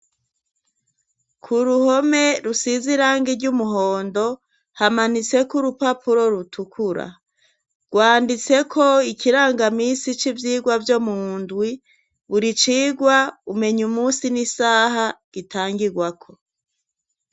Ku ruhome rusize irangi ry'umuhondo hamanitseko urupapuro rutukura. Rwanditseko ikirangamisi c' ivyirwa vyo mundwi buri cirwa umenya umunsi n'isaha gitangirwako.